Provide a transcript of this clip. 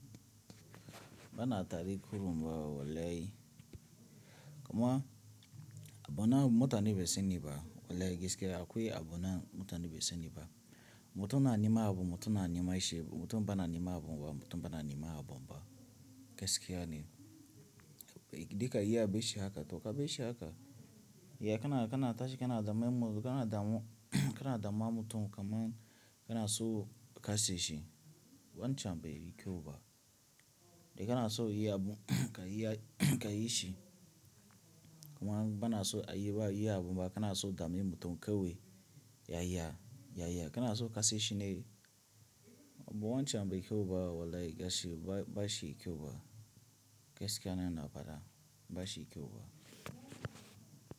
Bana tari kurumba wallahi. Kuma abu nan mutum bai saniba, wallahi gaskiya akwai abu nan mutum bai saniba. Mutum na nima abu, mutum na nima ishe, mutum bana nima abu ba, mutum bana nima abu ba. Gaskiya ne. Dika iya bashi haka, to ka bashi haka. Ya kana, kana tashi, kana daman mutum, kana damu, kana dama mutum kamar kana so ka sesi. Wancan bai kyau ba. Idan kana so iya abu ka iya ka yi shi. Kuma bana so a yi ba iya abu ba, kana so dami mutum kawai, yaya, yaya kana so ka sesi ne. Abu wancan bai kyau ba wallahi gashi ba shi kyau ba. Gaskiya na, na faɗa ba shi kyau ba.